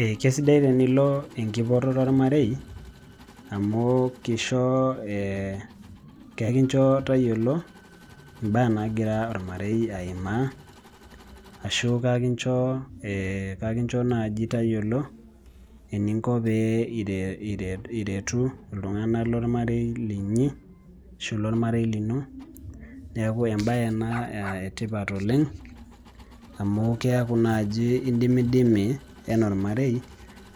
Ee kesidai tenilo enkipototo ormarei amu kisho ee kakincho tayiolo imbaa naagira ormarei aimaa ashu kakincho ee kakincho naaji tayiolo eninko pee iretu iltung'anak lormarei linyi ashu lormarei lino, neeku embaye ena etipat oleng' amu keeku naaji indimidimi ena ormarei